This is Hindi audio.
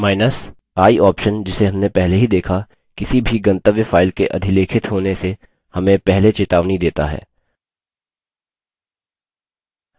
i option जिसे हमने पहले ही देखा किसी भी गंतव्य file के अधिलेखित होने से हमें पहले चेतावनी देता है